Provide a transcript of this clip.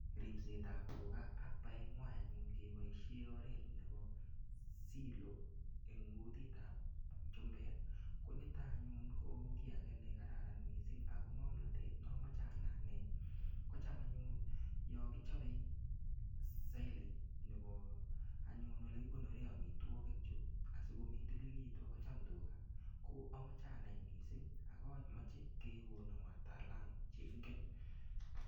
Ripset ab tuga ak paet ng'wai anyun kepoishe oret nepo silo en' kutit ab chumbek nitok anyun ko kiy age nekararan mising ako ng'omnatet notok amache anai anyun kocham anyun yo kichapee silage nepo anyun ole kigonore amitwogik chu asiko mindililitu akocham tuga ko amache anai mising' mache kegon wataalamu che ingen.